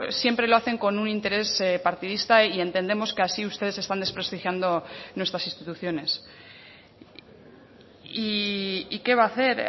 siempre lo hacen con un interés partidista y entendemos que así ustedes están desprestigiando nuestras instituciones y qué va a hacer